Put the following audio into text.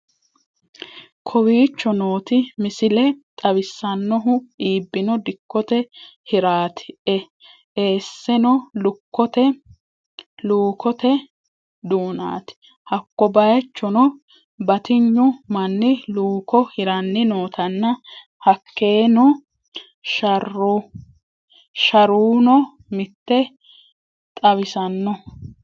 Kowichoo nooti miislee xawisanohuu ebbino diikote hiiratii essenno luukotte duunati haako baychonno baatignu maani luuko hiirani nootana haakenoo sharuuno miite xawsanno.